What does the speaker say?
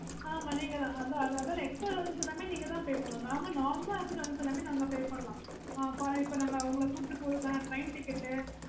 oh okay mam